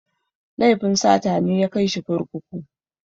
Laifin sata ne ya kai shi kurkuku.